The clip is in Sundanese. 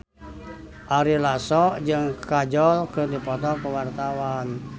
Ari Lasso jeung Kajol keur dipoto ku wartawan